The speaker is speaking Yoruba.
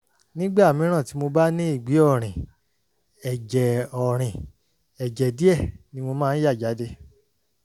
nígbà mìíràn tí mo bá ní ìgbẹ́ ọ̀rìn ẹ̀jẹ̀ ọ̀rìn ẹ̀jẹ̀ díẹ̀ ni mo máa ń yà jáde